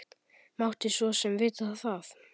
Mátti svo sem vita það.